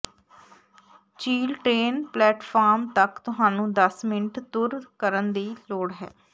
ਝੀਲ train platform ਤੱਕ ਤੁਹਾਨੂੰ ਦਸ ਮਿੰਟ ਤੁਰ ਕਰਨ ਦੀ ਲੋੜ ਹੈ